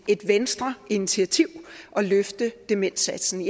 venstreinitiativ at løfte demensindsatsen